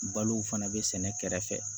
Balo fana bɛ sɛnɛ kɛrɛfɛ